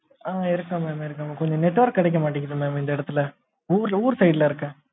ஆ இருக்கேன் madam madam கொஞ்சம் network கிடைக்கமாட்டேன்குது mam இந்த இடத்துல ஊருல ஊர் side சு இருக்கேன்.